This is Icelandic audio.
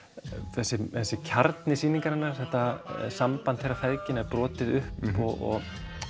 þessi kjarni sýningarinnar samband feðginanna er brotið upp og